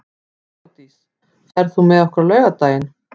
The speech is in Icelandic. Þeódís, ferð þú með okkur á laugardaginn?